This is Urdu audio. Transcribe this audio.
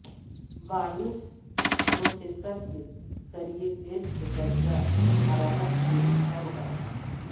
بایوس پروسیسر کے ذریعے ٹیسٹ درجہ حرارت کے طور پر